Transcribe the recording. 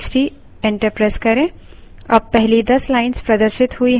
अब पहली दस lines प्रदर्शित हुई हैं